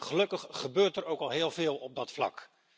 Gelukkig gebeurt er ook al heel veel op dat vlak.